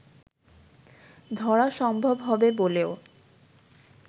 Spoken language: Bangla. ধরা সম্ভব হবে বলেও